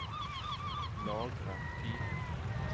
Lagre fil